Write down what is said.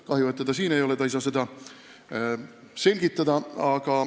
Kahju, et teda siin ei ole – ta ei saa seda selgitada.